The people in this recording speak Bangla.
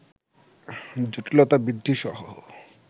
জটিলতা বৃদ্ধিসহ